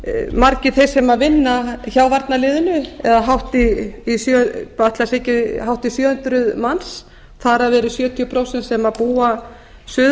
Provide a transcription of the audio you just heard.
margir þeir sem vinna hjá varnarliðinu eða hátt í ætli það séu ekki hátt í sjö hundruð manns þar af eru sjötíu prósent sem búa suður